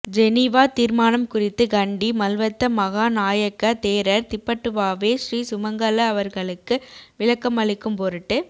Geneva தீர்மானம் குறித்து கண்டி மல்வத்த மகா நாயக்க தேரர் திப்பட்டுவாவே ஸ்ரீ சுமங்கல அவர்களுக்கு விளக்கமளிக்கும் பொருட்டு